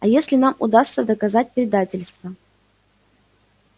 а если нам удастся доказать предательство